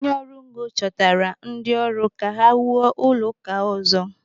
Onye ọrụ ngo chọtara ndị ọrụ ka ha wuo ụlọ ụka ọzọ.